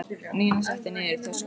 Nína setti niður í töskur og fór.